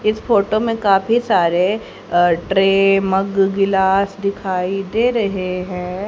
इस फोटो में काफी सारे ट्रे मग गिलास दिखाई दे रहे है।